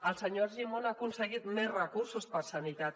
el senyor argimon ha aconseguit més recursos per a sanitat